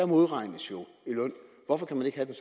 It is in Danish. modregnes i løn hvorfor kan man ikke have